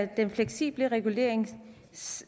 den fleksible regulering